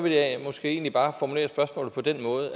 jeg måske egentlig bare formulere spørgsmålet på denne måde